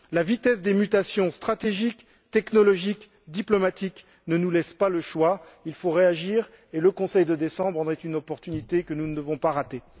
La vitesse des mutations stratégiques, technologiques et diplomatiques ne nous laisse pas le choix il faut réagir et le Conseil nous offre à cet égard une opportunité que nous ne pouvons pas rater.